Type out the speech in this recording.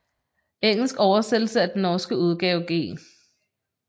Engelsk oversættelse af den norske udgave G